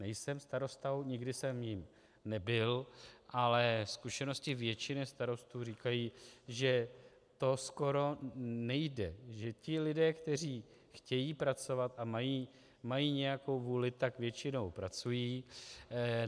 Nejsem starostou, nikdy jsem jím nebyl, ale zkušenosti většiny starostů říkají, že to skoro nejde, že ti lidé, kteří chtějí pracovat a mají nějakou vůli, tak většinou pracují.